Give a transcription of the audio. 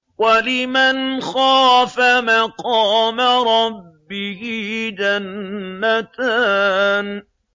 وَلِمَنْ خَافَ مَقَامَ رَبِّهِ جَنَّتَانِ